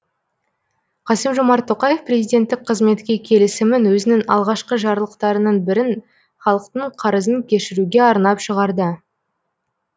қасым жомарт тоқаев президенттік қызметке келісімін өзінің алғашқы жарлықтарының бірін халықтың қарызын кешіруге арнап шығарды